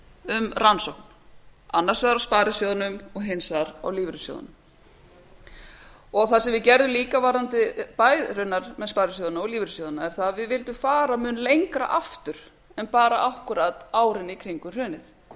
um rannsókn annars vegar á sparisjóðunum og hins vegar á lífeyrissjóðunum það sem við gerðum líka með sparisjóðina og lífeyrissjóðina er það að við vildum fara un lengra aftur en bara akkúrat árin í kringum hrunið